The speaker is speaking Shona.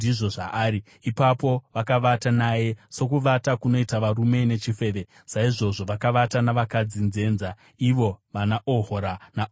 Ipapo vakavata naye. Sokuvata kunoita varume nechifeve, saizvozvo vakavata navakadzi nzenza, ivo vanaOhora naOhoribha.